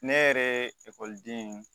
Ne yɛrɛ ye ekɔliden